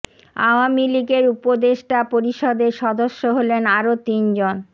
আওয়ামী লীগের উপদেষ্টা পরিষদের সদস্য হলেন আরো তিন জন